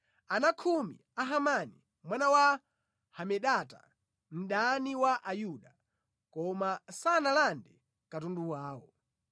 ana khumi a Hamani, mwana wa Hamedata, mdani wa Ayuda. Koma sanalande katundu wawo.